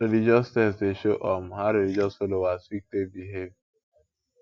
religious text dey show um how religious folowers fit take behave